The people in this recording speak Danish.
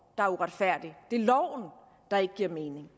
der er uretfærdig det er loven der ikke giver mening